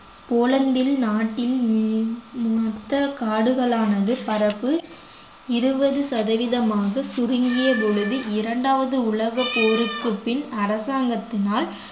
போலந்தில் நாட்டின் ஹம் மொத்த காடுகளானது பரப்பு இருபது சதவீதமாக சுருங்கிய பொழுது இரண்டாவது உலகப் போருக்குப் பின் அரசாங்கத்தினால்